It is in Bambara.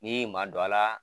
Ni in ma dɔ a la.